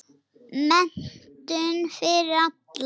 Menntun fyrir alla.